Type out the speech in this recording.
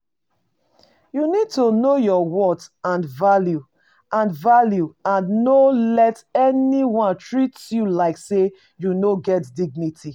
You need to know your worth and value, and value, and no let anyone treat you like say you no get dignity.